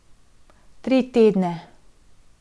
Tri tedne.